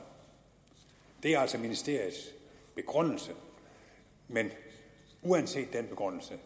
det er altså ministeriets begrundelse men uanset den begrundelse